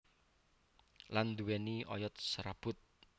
Lan nduwéni oyot serabut